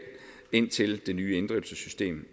indtil det nye inddrivelsessystem